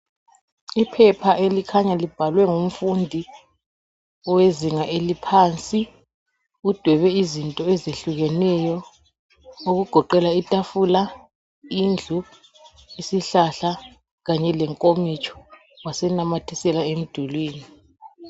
Iphepha elikhanya libhalwe ngumfundi, owezinga eliphansi. Udwebe izinto ezehlukeneyo. Okugoqela itafula, indlu, isihlahla ,kanye lenkomitsho. Wasenamathisela emdulwini.